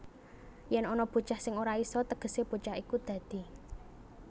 Yèn ana bocah sing ora isa tegesé bocah iku dadi